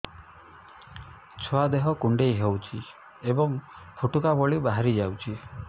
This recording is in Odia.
ଛୁଆ ଦେହ କୁଣ୍ଡେଇ ହଉଛି ଏବଂ ଫୁଟୁକା ଭଳି ବାହାରିଯାଉଛି